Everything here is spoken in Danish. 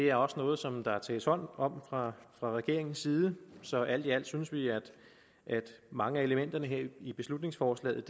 er også noget som der tages hånd om fra regeringens side så alt i alt synes vi at mange af elementerne her i beslutningsforslaget